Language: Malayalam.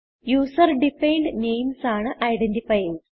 യൂസർ ഡിഫൈൻഡ് നെയിംസ് ആണ് ഐഡന്റിഫയർസ്